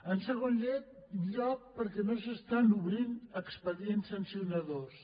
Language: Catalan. en segon lloc perquè no s’estan obrint expedients sancionadors